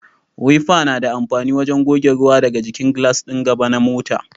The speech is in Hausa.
Wifa na da amfani wajen goge ruwa daga jikin glass din gaba na mota.